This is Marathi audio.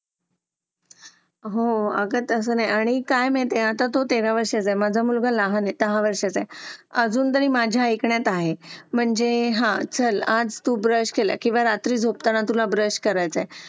आह आयजिन राहण्यासाठी आपल्याला कचरा.